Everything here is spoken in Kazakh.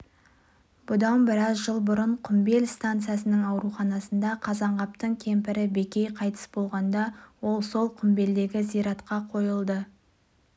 бұған дейін бір сәби қыз бала ентікпеден шетінеп еді оны ата-анасы өз еліне орал облысына апарып қойып келді